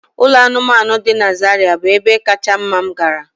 Ụlọ anụmanụ dị na Zariya bụ ebe kacha mma m gara.